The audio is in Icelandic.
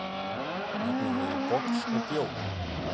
Nefna megi box og bjór.